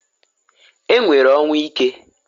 E nwere ọnwụ ike.